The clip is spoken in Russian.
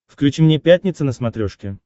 включи мне пятница на смотрешке